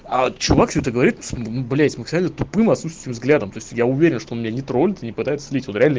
а чувак все это говорит с мм блять с максимально тупым отсутствующим взглядом то есть я уверен что у меня не троллит и не пытается слить он реально